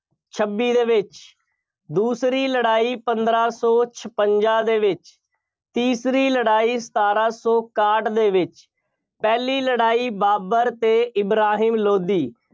ਛੱਬੀ ਦੇ ਵਿੱਚ, ਦੂਸਰੀ ਲੜਾਈ ਪੰਦਰਾਂ ਸੌ ਛਪੰਜ਼ਾਂ ਦੇ ਵਿੱਚ, ਤੀਸਰੀ ਲੜਾਈ ਸਤਾਰਾਂ ਸੌ ਇਕਾਹਠ ਦੇ ਵਿੱਚ, ਪਹਿਲੀ ਲੜਾਈ ਬਾਬਰ ਅਤੇ ਇਬਰਾਹਿਮ ਲੋਧੀ